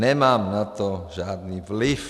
Nemám na to žádný vliv.